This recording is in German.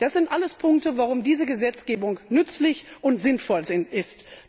Das sind alles Punkte, warum diese Gesetzgebung nützlich und sinnvoll ist.